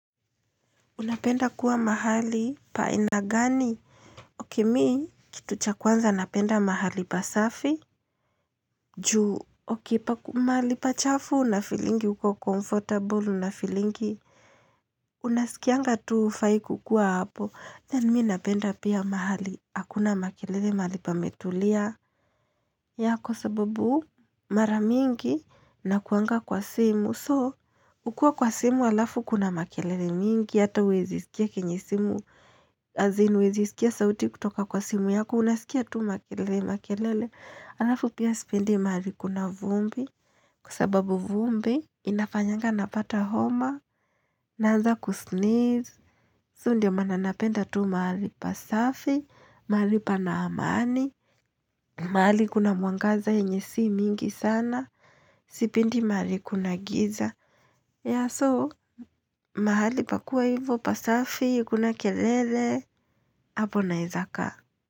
Unapenda kuwa mahali pa aina gani? Okay mi kitu cha kwanza napenda mahali pasafi. Juu. Okay mahali pachafu nafeelingi huko comfortable nafeelingi. Unasikianga tu hufai kukua hapo. Then mi napenda pia mahali. Hakuna makelele mahali pametulia. Yeah kwa sababu mara mingi nakuanga kwa simu. So ukiwa kwa simu alafu kuna makelele mingi. Hata huwezi sikia kenye simu. As in huwezi sikia sauti kutoka kwa simu yako, unasikia tu makelele makelele, halafu pia sipendi mahali kuna vumbi. Kwa sababu vumbi inafanyanga napata homa. Naanza kusneeze, so ndio maana napenda tu mahali pasafi, mahali pana amani, mahali kuna mwangaza yenye si mingi sana, sipendi mahali kuna giza. Yeah so mahali pakuwe hivo pasafi, hakuna kelele, hapo naeza kaa.